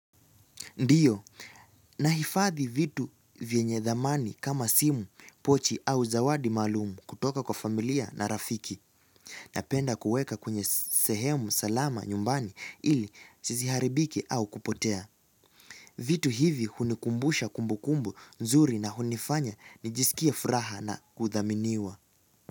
Ndiyo, nahifadhi vitu vyenye thamani kama simu, pochi au zawadi maalumu kutoka kwa familia na rafiki. Napenda kuweka kwenye sehemu salama nyumbani ili tiziharibiki au kupotea. Vitu hivi hunikumbusha kumbu kumbu nzuri na hunifanya nijisikie furaha na kuthaminiwa.